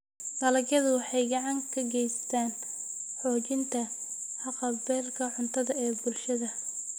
Dalagyadu waxay gacan ka geystaan ??xoojinta haqab-beelka cuntada ee bulshada.